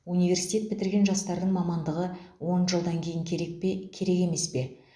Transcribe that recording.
университет бітірген жастардың мамандығы он жылдан кейін керек пе керек емес пе